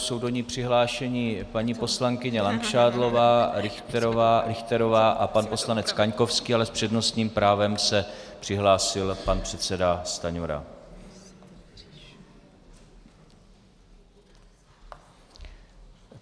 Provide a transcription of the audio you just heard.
Jsou do ní přihlášení paní poslankyně Langšádlová, Richterová a pan poslanec Kaňkovský, ale s přednostním právem se přihlásil pan předseda Stanjura.